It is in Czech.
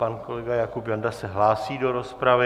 Pan kolega Jakub Janda se hlásí do rozpravy.